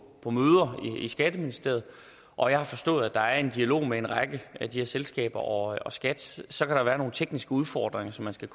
på møder i skatteministeriet og jeg har forstået at der er en dialog mellem en række af de her selskaber og og skat så kan der være nogle tekniske udfordringer som man skal